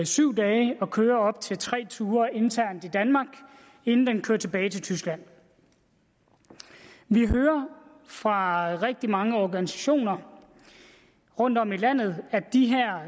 syv dage og køre op til tre ture internt i danmark inden den kører tilbage til tyskland vi hører fra rigtig mange organisationer rundtom i landet at de